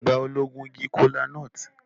Ìgbà wo lo gun igi kola-nut?